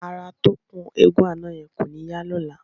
Ara atọ́kùn eégún àná yẹn kò ní yá lọ́la.